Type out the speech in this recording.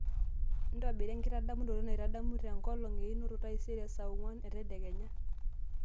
ntobira enkidamunoto naitadamu lenkolong einoto taisere saa onguan entedekenya